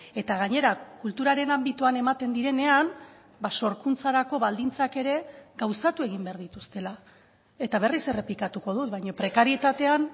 eta gainera kulturaren anbitoan ematen direnean sorkuntzarako baldintzak ere gauzatu egin behar dituztela eta berriz errepikatuko dut baina prekarietatean